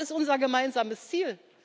sollen. Das ist unser gemeinsames